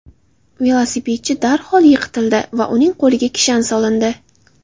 Velosipedchi darhol yiqitildi va uning qo‘liga kishan solindi.